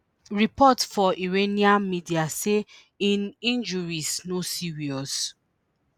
reports for iranian media say im injuries no serious